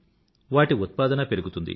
వాటి ఉత్పాదన పెరుగుతుంది